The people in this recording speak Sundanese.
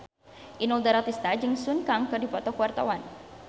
Inul Daratista jeung Sun Kang keur dipoto ku wartawan